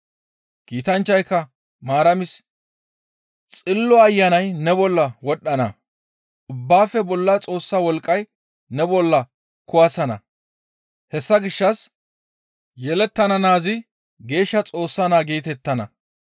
Kiitanchchayka Maaramis, «Xillo Ayanay ne bolla wodhdhana; ubbaafe bolla Xoossa wolqqay ne bolla kuwasana; hessa gishshas yelettana naazi Geeshsha Xoossa naa geetettana.